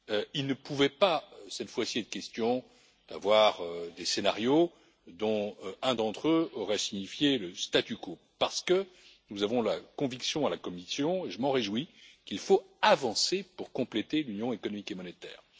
Il ne pouvait pas, cette fois ci, être question d'avoir plusieurs scénarios, dont un d'entre eux aurait été le statu quo, parce que nous avons la conviction à la Commission, et je m'en réjouis, qu'il faut avancer pour compléter l'Union économique et monétaire.